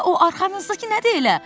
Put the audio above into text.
o arxanızdakı nədir elə?